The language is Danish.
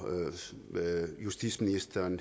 justitsministeren